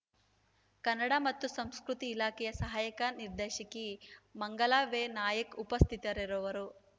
ಕನ್ನಡ ಮತ್ತು ಸಂಸ್ಕೃತಿ ಇಲಾಖೆಯ ಸಹಾಯಕ ನಿರ್ದೇಶಕಿ ಮಂಗಲಾ ವೆ ನಾಯಕ್‌ ಉಪಸ್ಥಿತರಿರುವರು